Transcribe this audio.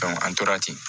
an tora ten